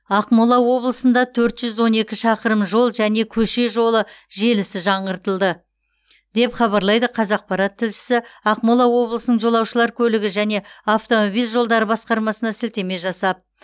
ақмола облысында төрт жүз он екі шақырым жол және көше жолы желісі жаңғыртылды деп хабарлайды қазақпарат тілшісі ақмола облысының жолаушылар көлігі және автомобиль жолдары басқармасына сілтеме жасап